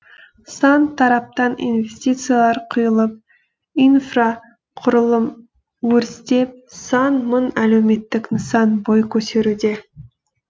сан тараптан инвестициялар құйылып инфрақұрылым өрістеп сан мың әлеуметтік нысан бой көтеруде